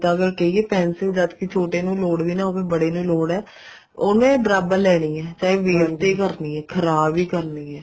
ਅਗਰ ਕਹਿਏ pencil ਜਦ ਕੇ ਛੋਟੇ ਨੂੰ ਲੋੜ ਵੀ ਨਾ ਹੋਵੇ ਬੜੇ ਨੂੰ ਲੋੜ ਹੈ ਉਹਨੇ ਦਬ ਲੈਣੀ ਹੈ ਚਾਹੇ ਹੀ ਕਰਨੀ ਖਰਾਬ ਹੀ ਕਰਨੀ ਹੈ